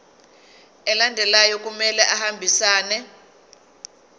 alandelayo kumele ahambisane